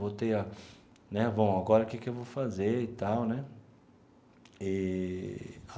Voltei a né, bom, agora que que eu vou fazer e tal né eee.